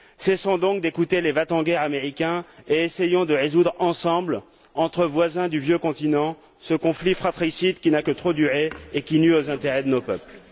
Cessons donc d'écouter les va t en guerre américains et essayons de résoudre ensemble, entre voisins du Vieux Continent, ce conflit fratricide qui n'a que trop duré et qui nuit aux intérêts de nos peuples.